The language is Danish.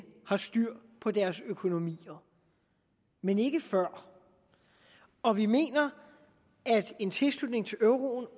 har styr på deres økonomi men ikke før og vi mener at en tilslutning til euroen